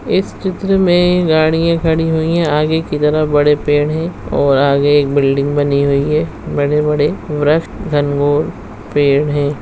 इस चित्र में गाड़ियां खड़ी हुई है आगे की तरफ बड़े पेड़ है और आगे एक बिल्डिंग बनी हुई है बड़े-बड़े वृक्ष घनघोर पेड़ हैं।